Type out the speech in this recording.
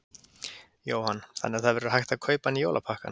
Jóhann: Þannig að það verður hægt að kaupa hann í jólapakkann?